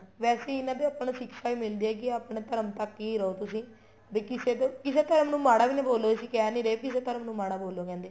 ਵੈਸੇ ਵੀ ਇੰਨਾ ਤੋ ਆਪਾਂ ਨੂੰ ਸਿਕਸਾ ਵੀ ਮਿਲਦੀ ਏ ਆਪਣੇ ਧਰਮ ਤੱਕ ਹੀ ਰਹੋ ਤੁਸੀਂ ਵੀ ਕਿਸੇ ਦੇ ਕਿਸੇ ਧਰਮ ਨੂੰ ਮਾੜਾ ਵੀ ਨਾ ਬੋਲੋ ਅਸੀਂ ਕਹਿ ਨਹੀਂ ਰਹੇ ਕਿਸੇ ਧਰਮ ਨੂੰ ਮਾੜਾ ਬੋਲੋ ਕਹਿੰਦੇ